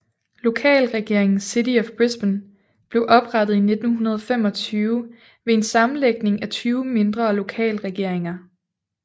Lokalregeringen City of Brisbane blev oprettet i 1925 ved en sammenlægning af 20 mindre lokalregeringer